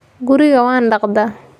guriga waan dhaqdaa